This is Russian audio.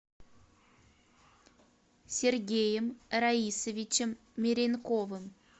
сергеем раисовичем меренковым